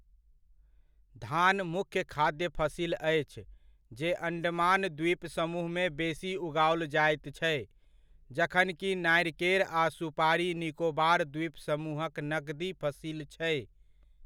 धान, मुख्य खाद्य फसिल अछि जे अंडमान द्वीप समूहमे बेसी उगाओल जाइत छै जखनकि नारिकेर आ सुपारी निकोबार द्वीप समूहक नकदी फसिल छै।